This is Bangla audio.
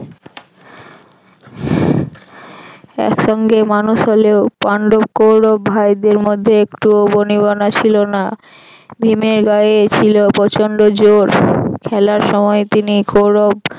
একসঙ্গে মানুষ হলেও পান্ডব কৌরব ভাইদের মধ্যে একটুও বনিবনা ছিল না। ভীমের গায়ে ছিল প্রচন্ড জোড়। খেলার সময় তিনি গৌরব